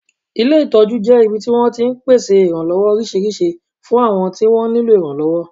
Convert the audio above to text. Ilé ìtọ́jú jẹ́ ibi tí wọ́n ti máa ń pèsè ìrànlọ́wọ́ oríṣiríṣi fún àwọn tí wọ́n nílò ìrànlọ́wọ́